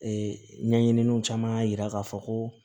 Ee ɲɛɲininiw caman y'a jira k'a fɔ ko